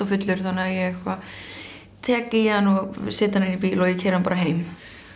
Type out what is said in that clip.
fullur þannig ég eitthvað tek í hann og set hann inn í bíl og keyri hann bara heim